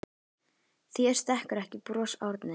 Þér stekkur ekki bros Árni.